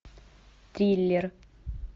триллер